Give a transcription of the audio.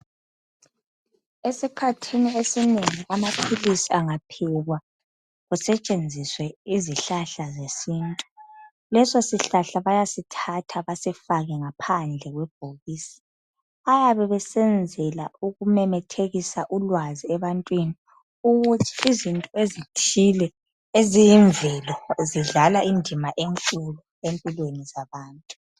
Esikhathini esinengi amaphilisi angaphekwa, kusetshenziswe izihlahla zesintu, leso sihlahla bayasithatha basifake ngaphandle kwebhokisi. Bayabe besenzela ukumemethekisa ulwazi ebantwini ukuthi izinto ezithile eziyimvelo zidlala indima enkulu empilweni zabantu.